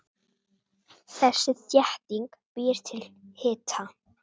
Þessi þétting býr til hita.